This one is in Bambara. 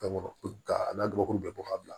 a n'a gabakuru bɛɛ bɔ ka bila